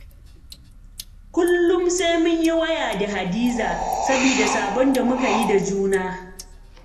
Kullum sai mun yi waya da Hadiza, saboda sabon da muka yi da juna.